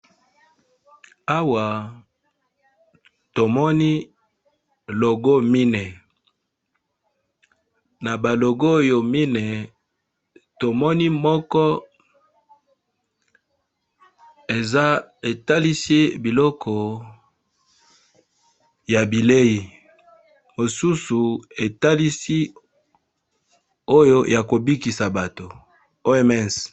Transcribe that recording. Awa tomoni logo mine. Na ba logo oyo mine tomoni moko eza etalisi biloko ya bilei mosusu etalisi oyo ya kobikisa bato OMS.